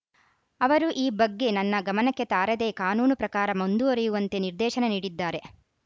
ಅವರು ಈ ಬಗ್ಗೆ ನನ್ನ ಗಮನಕ್ಕೆ ತಾರದೆ ಕಾನೂನು ಪ್ರಕಾರ ಮುಂದುವರೆಯುವಂತೆ ನಿರ್ದೇಶನ ನೀಡಿದ್ದಾರೆ